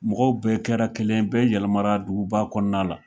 Mɔgɔw bɛɛ kɛra kelen bɛɛ yɛlɛmara duguba kɔnɔna la